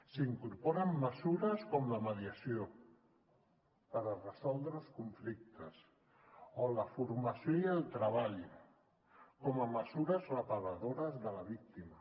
s’incorporen mesures com la mediació per resoldre els conflictes o la formació i el treball com a mesures reparadores de la víctima